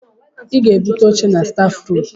Ị ga-aga bute oché na staf ruum.